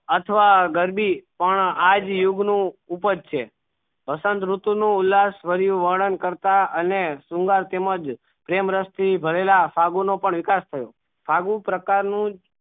અથવા ગરદી પણ આ જ યુગ નું ઉપજ છે વસંત રીતુ નું ઉલાસ વ્રીયું વરણ કરતા અને શૃંગાર તેમજ પ્રેમ રસ થી ભરેલા સાગુ નો વિકાસ થયું સાગું પ્રકાર નું